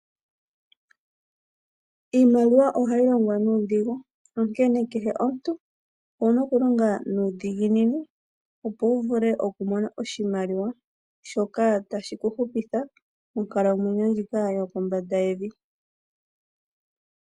Iimaliwa ohayi longwa nuudhigu onkene kehe omuntu owuna okulonga nuudhiginini opo wuvule okumona oshimaliwa shoka tashi kuhupitha monkalamwenyo ndjika yokombanda yevi.